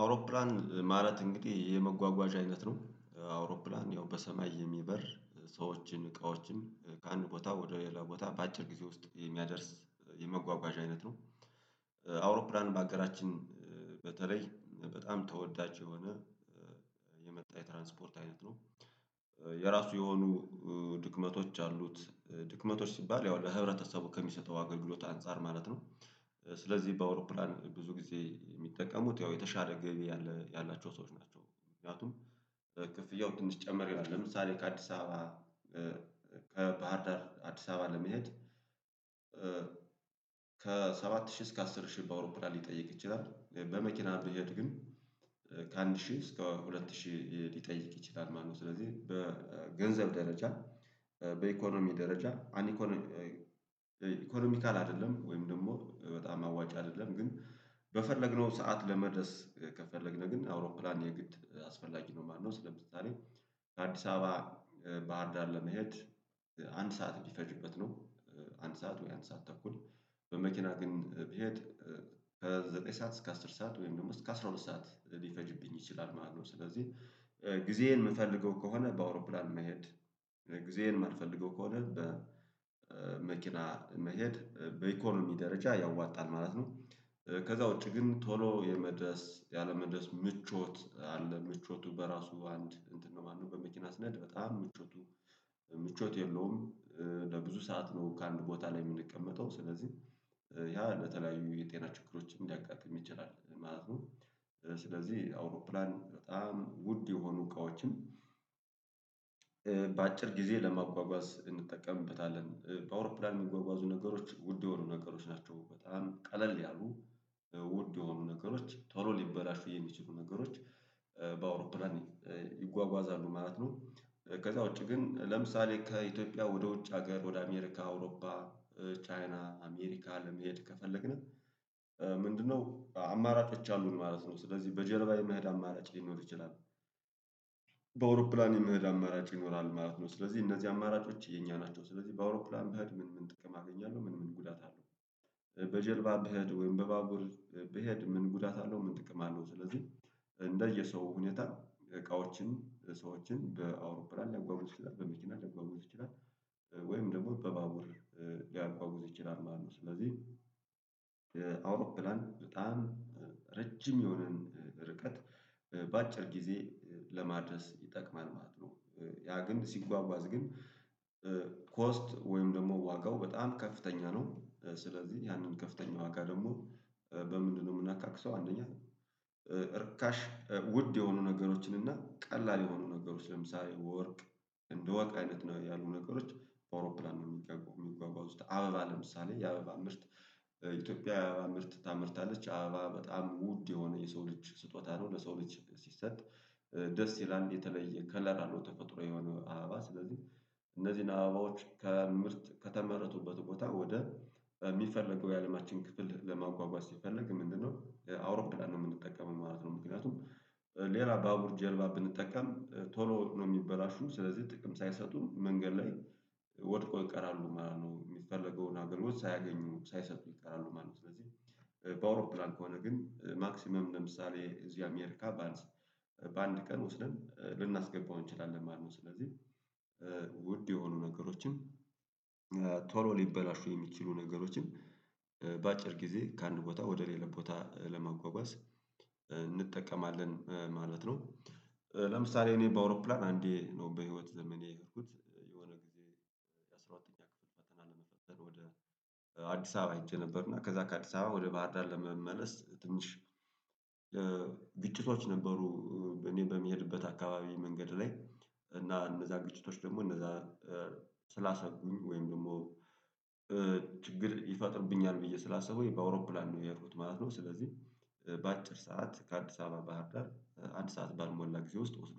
አውሮፕላን ማለት እንግዲህ የመጓጓዣ አይነት ነው አውሮፕላን ያው በሰማይ የሚበር ሰዎችን እቃዎችን ከአንድ ቦታ ወደ ሌላ ቦታ በአጭር ጊዜ ውስጥ የሚያደርስ የመጓጓዣ አይነት ነው። አውሮፕላን በአገራችን በተለይ በጣም ተወዳጅ እየሆነ የመጣ የትራንስፖርት አይነት ነው። የራሱ የሆኑ ድክመቶች አሉት ድክመቶች ሲባል ያው ለህብረተሰቡ ከሚሰጠው አገልግሎት አንፃር ማለት ነው። ስለዚህ በአውሮፕላን ብዙ ጊዜ የሚጠቀሙት ያው የተሻለ ገቢ ያላቸው ሰዎች ናቸው። ምክንያቱም ክፍያው ትንሽ ጨመር ይላል ለምሳሌ ከአዲስ አበባ ከባህር ዳር አዲስ አበባ ለመሄድ ከሰባት ሺህ እስከ አስር ሺህ በአውሮፕላን ሊጠይቅ ይችላል። በመኪና ብሄድ ግን ከአንድ ሺህ እስከ ሁለት ሺህ ሊጠይቅ ይችላል ማለት ነው። ስለዚህ በገንዘብ ደረጃ በኢኮኖሚ ደረጃ አኒኮኖ ኢኮኖሚካል አይደለም ወይም ደግሞ በጣም አዋጫ አይደለም። ግን በፈለግነው ሰዓት ለመድረስ ከፈለግን ግን አውሮፕላን የግድ አስፈላጊ ነው ማለት ነው። ስለዚህ ከአዲስ አበባ ባህርዳር ለመሄድ አንድ ሰዓት እንዲፈጅበት ነው። አንድ ሰዓት ወይ አንድ ሰዓት ተኩል በመኪና ግን ብሄድ ከዘጠኝ ሰዓት እስከ አስር ሰዓት ወይም ደግሞ እስከ አስራ ሁለት ሰዓት ሊፈጅብኝ ይችላል ማለት ነው። ስለዚህ ጊዜዬን የምፈልገው ከሆነ በአውሮፕላን መሄድ ጊዜዬን የማልፈልገው ከሆነ በመኪና መሄድ በኢኮኖሚ ደረጃ ያዋጣል ማለት ነው። ከዛ ውጪ ግን ቶሎ የመድረስ ያለመድረስ ምቾት አለ ምቾቱ በራሱ አንድ እንትን ነው ማለት ነው። በመኪና ስነሄ በጣም ምቾቱ ምቾት የለውም። ለብዙ ሰዓት ነው ከአንድ ቦታ ላይ የምንቀመጠው ስለዚህ ያ ለተለያዩ የጤና ችግሮችን ሊያጋጥም ይችላል ማለት ነው። ስለዚህ አውሮፕላን በጣም ውድ የሆኑ እቃዎችን በአጭር ጊዜ ለማጓጓዝ እንጠቀምበታለን በአውሮፕላን የሚጓጓዙ ነገሮች ውድ የሆኑ ነገሮች ናቸው። በጣም ቀለል ያሉ ውድ የሆኑ ነገሮች ቶሎ ሊበላሹ የሚችሉ ነገሮች በአውሮፕላን ይጓጓዛሉ ማለት ነው። ከዛ ውጪ ግን ለምሳሌ ከኢትዮጵያ ወደ ውጭ ሀገር ወደ አሜሪካ አውሮፓ ቻይና አሜሪካ አለመሄድ ከፈለግን። ምንድነው? አማራጮች አሉን ማለት ነው ስለዚህ በጀልባ የመሄድ አማራጭ ሊኖር ይችላል። በአውሮፕላን የምሄድ አማራጭ ይኖራል ማለት ነው ስለዚህ እነዚህ አማራጮች የኛ ናቸው። ስለዚህ በአውሮፕላን በሄድ ምን ምን ጥቅም አገኛለሁ ምን ምን ጉዳት አለው? በጀልባ ብሄድ ወይም በባቡር ብሄድ ምን ጉዳት አለው ምን ጥቅም አለው? ስለዚህ እንደየ ሰው ሁኔታ እቃዎችን ሰዎችን በአውሮፕላን ሊያጓጉዝ ይችላል በመኪና ሊያጎጉዝ ይችላል ወይም ደግሞ በባቡር ሊያጎጉዝ ይችላል ማለት ነው። ስለዚህ አውሮፕላን በጣም ረጅም የሆነን ርቀት በአጭር ጊዜ ለማድረስ ይጠቅማል ማለት ነው። ያ ግን ሲጓጓዝ ግን ኮስት ወይም ደግሞ ዋጋው በጣም ከፍተኛ ነው። ስለዚህ ያንን ከፍተኛ ዋጋ ደግሞ በምንድነው የምናካክሰው? አንደኛ እርካሽ ውድ የሆኑ ነገሮችን እና ቀላል የሆኑ ነገሮች ለምሳሌ ወርቅ እንደወርቅ አይነት ያሉት ነገሮች በአውሮፕላን ነው የሚጓጓዙት። አበባ ለምሳሌ የአበባ ምርት ኢትዮጵያ ምርት ታመርታለች አባ በጣም ውድ የሆነ የሰው ልጅ ስጦታ ነው። ለሰው ልጅ ሲሰጥ ደስ ይላል የተለየ ከለር አለው። ተፈጥሮ የሆነ አባ ስለዚህ እነዚህን አባዎች ከምርት ከተመረቱበት ቦታ ወደ የሚፈለገው የአለማችን ክፍል ለማጓጓዝ ሲፈለግ ምንድነው አውሮፕላን ነው የምንጠቀመው ማለት ነው። ምክንያቱም ሌላ ባቡር ጀልባ ብንጠቀም ቶሎ ነው የሚበላሹት ስለዚህ ጥቅም ሳይሰጡ መንገድ ላይ ወድቆ ይቀራሉ ማለት ነው። የሚፈለገውን አገልግሎት ሳያገኙ ሳይሰጡ ይቀራሉ ማለት ነው። ስለዚህ በአውሮፕላን ከሆነ ግን ማክሲመም ለምሳሌ እዚህ አሜሪካ ባንድ በአንድ ቀን ወስደን ልናስገባው እንችላለን ማለት ነው። ስለዚህ ውድ የሆኑ ነገሮችን ቶሎ ሊበላሹ የሚችሉ ነገሮችን በአጭር ጊዜ ከአንድ ቦታ ወደ ሌላ ቦታ ለመጓጓዝ እንጠቀማለን ማለት ነው። ለምሳሌ እኔ በአውሮፕላን አንዴ ነው በህይወት ዘመኔ የሄድኩት የሆነ ጊዜ የሁለተኛ ክፍል ፈተና ለመፈተን ወደ አዲስ አበባ አይቼ ነበር። እና ከዛ ከአዲስ አበባ ወደ ባህር ዳር ለመመለስ ትንሽ ግጭቶች ነበሩ። እኔ በሚሄድበት አካባቢ መንገድ ላይ እና እነዛ ግጭቶች ደግሞ እነዛ ስላሰጉኝ ወይም ደግሞ ችግር ይፈጥርብኛል ብዬ ስላሰብኩኝ በአውሮፕላን ነው ያሔድኩት ማለት ነው። ስለዚህ በአጭር ሰዓት ከአዲስ አበባ ባህር ዳር አንድ ሰዓት ባልሞላ ጊዜ ውስጥ ወስዶ